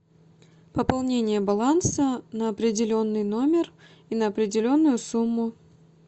пополнение баланса на определенный номер и на определенную сумму